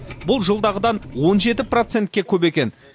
бұл жылдағыдан он жеті процентке көп екен